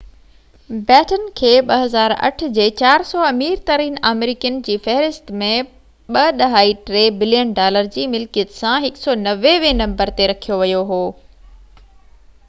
بيٽن کي 2008ع جي 400 امير ترين آمريڪين جي فهرست ۾ 2.3 بلين ڊالر جي ملڪيت سان 190 هين نمبر تي رکيو يو هو